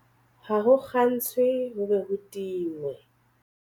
Ha ho kgantshwe ho be ho tingwe